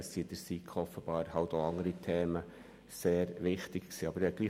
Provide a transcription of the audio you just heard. Es gab in der SiK offenbar einige andere sehr wichtige Themen.